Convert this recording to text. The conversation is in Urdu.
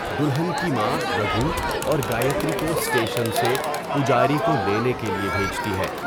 دلہن کی ماں رگھو اور گایتری کو اسٹیشن سے پجاری کو لینے کے لیے بھیجتی ہے۔